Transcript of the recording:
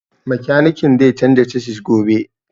Makanikin zan canza casis gobe